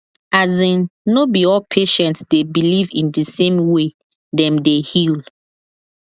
as in no be all patient dey believe in the same way dem dey heal